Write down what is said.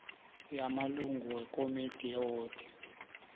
yamalungu wekomidi yewodi